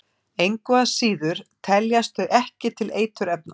Engu að síður teljast þau ekki til eiturefna.